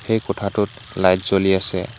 এই কোঠাটোত লাইট জ্বলি আছে।